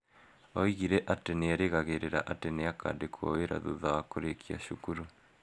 Oigire atĩ erĩgagĩrĩra atĩ nĩ akandĩkwo wĩra thutha wa kũrĩkia cukuru.